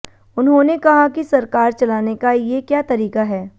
उन्होंने कहा कि सरकार चलाने का ये क्या तरीका है